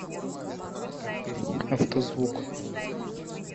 автозвук